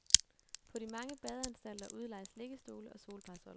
På de mange badeanstalter udlejes liggestole og solparasoller.